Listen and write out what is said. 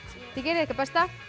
þið gerið ykkar besta